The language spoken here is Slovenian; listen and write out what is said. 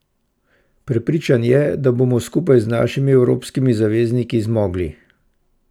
Prepričan je, da bomo skupaj z našimi evropskimi zavezniki zmogli.